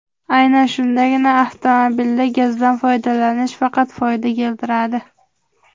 Aynan shundagina avtomobilda gazdan foydalanish faqat foyda keltiradi.